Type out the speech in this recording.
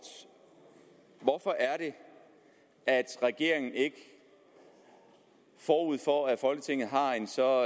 hvorfor er det at regeringen ikke forud for at folketinget har en så